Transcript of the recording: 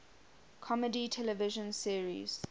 comedy television series